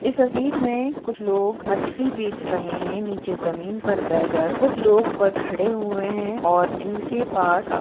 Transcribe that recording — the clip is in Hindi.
इस तस्वीर में कुछ लोग मछली बेच रहे है निचे जमीन पर बेह कर कुछ लोग खड़े हुए है और इनके पास खाफ--